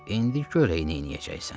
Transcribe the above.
İndi gör eyy nəyəcəksən.